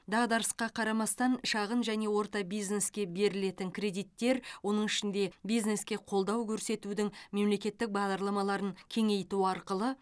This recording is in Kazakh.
дағдарысқа қарамастан шағын және орта бизнеске берілетін кредиттер оның ішінде бизнеске қолдау көрсетудің мемлекеттік бағдарламаларын кеңейту арқылы